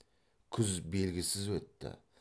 күз белгісіз өтті